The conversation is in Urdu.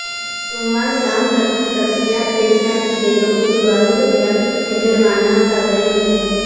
سوموار شام تک تفصیلات پیش نہ کی گئی تو قصوواروں کیخلاف مجرمانہ کارورائی ہو گی